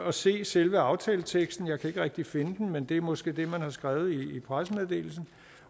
at se selve aftaleteksten jeg kan ikke rigtig finde den men det er måske det man har skrevet i pressemeddelelsen